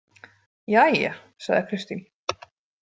Jæja, sagði Kristín.